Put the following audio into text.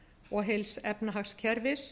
og heils efnahagskerfis